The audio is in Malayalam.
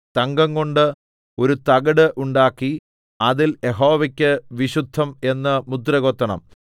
തങ്കംകൊണ്ട് ഒരു തകിട് ഉണ്ടാക്കി അതിൽ യഹോവയ്ക്ക് വിശുദ്ധം എന്ന് മുദ്ര കൊത്തണം